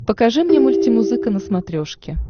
покажи мне мультимузыка на смотрешке